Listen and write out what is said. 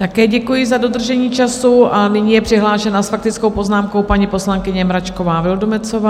Také děkuji za dodržení času a nyní je přihlášená s faktickou poznámkou paní poslankyně Mračková Vildumetzová.